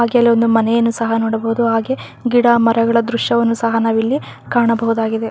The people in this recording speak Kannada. ಹಾಗೆ ಇಲ್ಲಿ ಒಂದು ಮನೆಯನ್ನು ಸಹ ನೋಡಬಹುದು ಹಾಗೆ ಗಿಡ ಮರಗಳ ದ್ರಶ್ಯವನ್ನು ಸಹ ನಾವು ಇಲ್ಲಿ ಕಾಣಬಹುದಾಗಿದೆ.